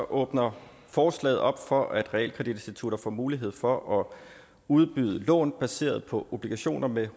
åbner forslaget op for at realkreditinstitutter får mulighed for at udbyde lån baseret på obligationer med